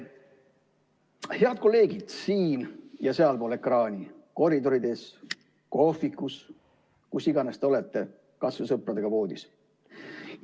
Head kolleegid siin- ja sealpool ekraani, koridorides, kohvikus, kus iganes te olete, kas või sõpradega voodis!